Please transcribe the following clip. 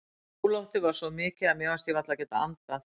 Óloftið var svo mikið að mér fannst ég varla geta andað.